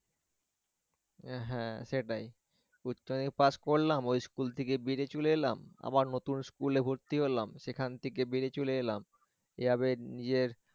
আহ হ্যাঁ সেটাই, পাঁচ পড়লাম ওই school থেকে বেরিয়ে চলে আসলাম, আবার নতুন school এ ভর্তি হলাম সেখান থেক বেরিয়ে চলে এলাম, এভাবে নিয়ে